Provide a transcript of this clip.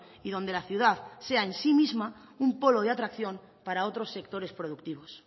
y donde la ciudad sea en sí misma un polo de atracción para otros sectores productivos